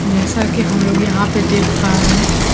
जैसा कि हम लोग यहां पे देख पा रहे--